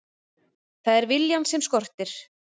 Það er viljann sem skortir.